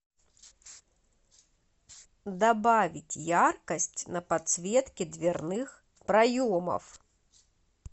добавить яркость на подсветке дверных проемов